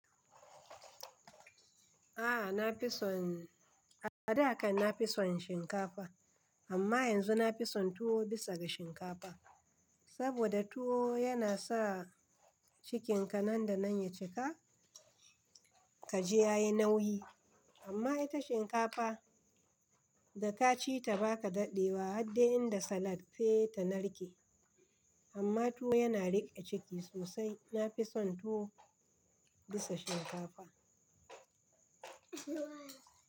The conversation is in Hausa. A'a na fi son, a da kan na fi son shinkafa amma yanzu na fi son tuwo bisa ga shinkafa. Saboda tuwo yana sa cikinka nan da nan ya cika, ka je ya yi nauyi. Amma ita shinkafa da ka ci ta ba ka daɗewa har dai inda salat sai ta narke. Amma tuwo yana riƙe ciki sosai. Na fi son tuwo bisa shinkafa.